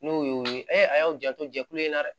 N'o y'o ye a y'aw janto jɛkulu in na dɛ